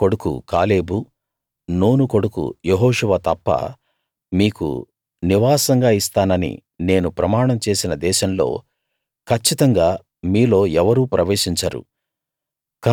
యెఫున్నె కొడుకు Caleb Nun కొడుకు యెహోషువ తప్ప మీకు నివాసంగా ఇస్తానని నేను ప్రమాణం చేసిన దేశంలో కచ్చితంగా మీలో ఎవరూ ప్రవేశించరు